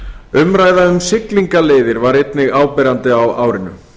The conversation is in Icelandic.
umræða um siglingaleiðir var einnig áberandi á árinu